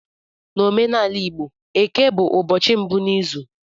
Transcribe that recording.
N'omenala igbo Eke bụ ụbọchị mbụ n'izu